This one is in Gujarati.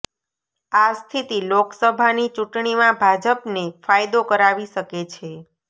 આ સ્થિતિ લોકસભાની ચૂંટણીમાં ભાજપને ફાયદો કરાવી શકે છે